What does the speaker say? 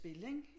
Spil ikke